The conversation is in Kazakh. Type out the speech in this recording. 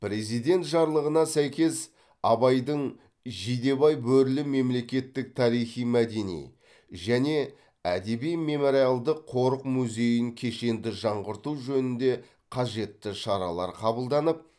президент жарлығына сәйкес абайдың жидебай бөрілі мемлекеттік тарихи мәдени және әдеби мемориалдық қорық музейін кешенді жаңғырту жөнінде қажетті шаралар қабылданып